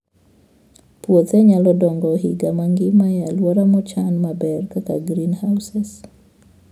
Puothe nyalo dongo higa mangima e alwora mochan maber kaka greenhouses.